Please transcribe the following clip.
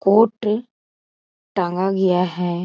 Coat टांगा गया है।